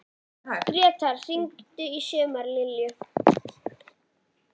Gretar, hringdu í Sumarlilju.